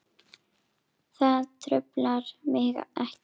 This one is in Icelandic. Það truflar mig ekki.